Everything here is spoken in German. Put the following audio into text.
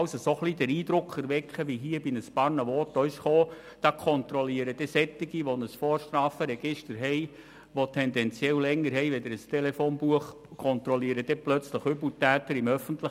Einige Voten haben auch den Eindruck erweckt, dass dann plötzlich Leute mit einem Vorstrafenregister, das tendenziell länger ist als ein Telefonbuch, Übeltäter im öffentlichen Raum kontrollieren.